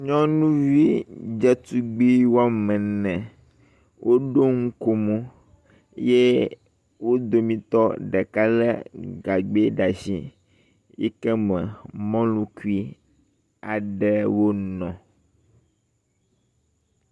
Nyɔnuvi dzetugbi wɔme ene woɖo nukomo ye wo domitɔ ɖeka le gagbɛ ɖe as iyi ke me mɔlukui aɖewo nɔ.